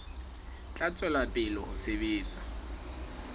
tla tswela pele ho sebetsa